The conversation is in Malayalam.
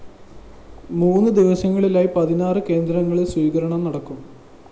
മൂന്ന് ദിവസങ്ങളിലായി പതിനാറ് കേന്ദ്രങ്ങലില്‍ സ്വീകരണം നല്‍കും